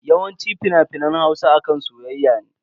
Yawanci fina-finan Hausa akan soyayya ne.